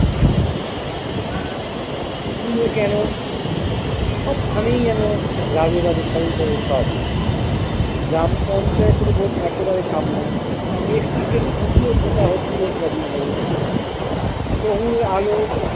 স্কুলে কেন সবখানেই যেন রাজো রাজো সাজো সাজো সব গ্রাম পঞ্চায়েতের vote একেবারে সামনে electric এর খুঁটিও পোঁতা হচ্ছে কদিন হল শহুরে আলো।